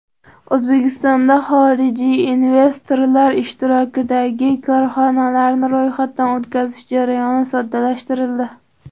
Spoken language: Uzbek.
O‘zbekistonda xorijiy investorlar ishtirokidagi korxonalarni ro‘yxatdan o‘tkazish jarayoni soddalashtirildi.